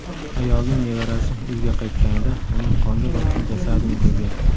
Ayolning nevarasi uyga qaytganida uning qonga botgan jasadini ko‘rgan.